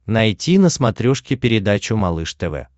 найти на смотрешке передачу малыш тв